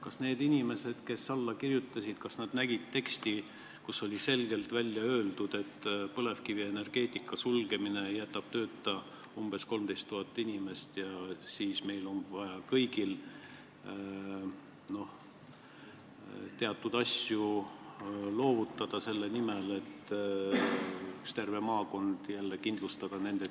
Kas need inimesed, kes alla kirjutasid, nägid teksti, kus oli selgelt öeldud, et põlevkivienergeetika sulgemine jätab tööta umbes 13 000 inimest ja siis on meil kõigil vaja teatud asjadest loobuda selle nimel, et kindlustada üks terve maakond jälle töökohtadega?